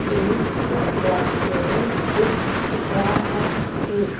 एक अ रेस्टोरेंट दिख रहा है।